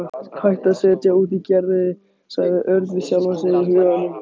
Hættu að setja út á Gerði sagði Örn við sjálfan sig í huganum.